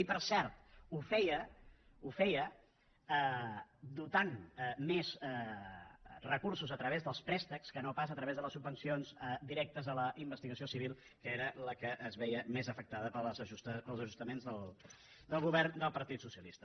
i per cert ho feia ho feia dotant més recursos a través dels préstecs que no pas a través de les subvencions directes a la investigació civil que era la que es veia més afectada pels ajustaments del govern del partit socialista